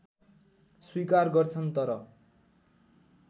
स्वीकार गर्छन् तर